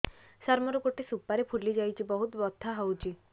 ସାର ମୋର ଗୋଟେ ସୁପାରୀ ଫୁଲିଯାଇଛି ବହୁତ ବଥା ହଉଛି